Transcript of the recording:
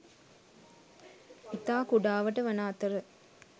ඉතා කුඩාවට වන අතර